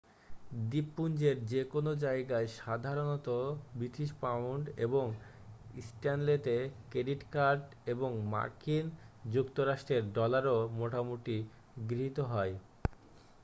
দ্বীপপুঞ্জের যে কোনও জায়গায় সাধারণত ব্রিটিশ পাউন্ড এবং স্ট্যানলেতে ক্রেডিট কার্ড এবং মার্কিন যুক্তরাষ্ট্রের ডলারও মোটামুটি গৃহীত হয়